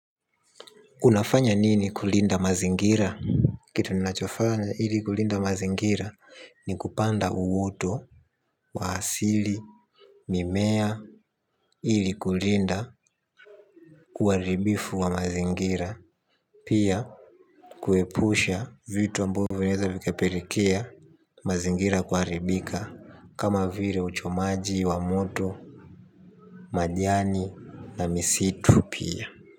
Unafanya nini kulinda mazingira? Kitu ninachofanya ili kulinda mazingira ni kupanda uoto wa asili Mimea Ili kulinda kuharibifu wa mazingira. Pia kuepusha vitu ambavyo vinaweza vikapelekea mazingira kuharibika. Kama vile uchomaji wa moto Majani Na misitu pia.